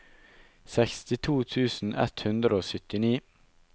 sekstito tusen ett hundre og syttini